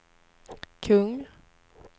kung